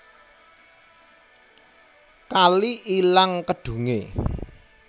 Kali ilang kedhunge